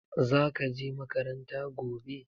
Za ka je makaranta gobe?